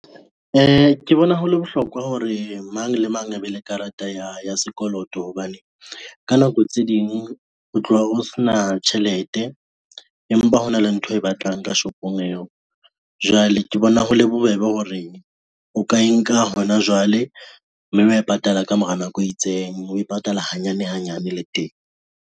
Ke bona hole bohlokwa hore mang le mang a be le karata ya hae ya sekoloto, hobane ka nako tse ding o tloha o se na tjhelete, empa hona le ntho e batlang ka shopong eo. Jwale ke bona ho le bobebe hore o ka e nka hona jwale mme wa e patala ka mora nako e itseng, we patala hanyane hanyane le teng.